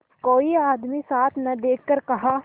कोई आदमी साथ न देखकर कहा